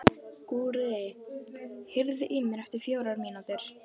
Gurrí, heyrðu í mér eftir fjórar mínútur.